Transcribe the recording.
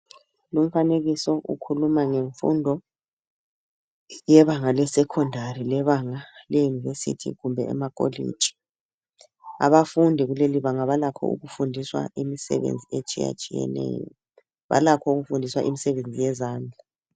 Lumfanekiso ukhuluma ngemfundo yebanga lesecondary. Lebanga le-university kumbe emakolitshi. Abafundi kulelibanga, balakho ukufundiswa imisebenzi etshiyatshiyeneyo. Balakho ukufundiswa imisebenzi yezandla.